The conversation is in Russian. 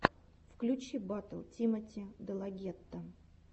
включи батл тимоти делагетто